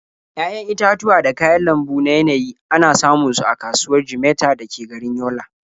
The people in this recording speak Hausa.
Ya'yan itatuwa da kayan lambu na yanayi ana samun su a kasuwar Jimeta da ke garin Yola.